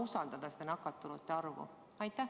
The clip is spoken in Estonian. Me ei saa seda nakatunute arvu usaldada.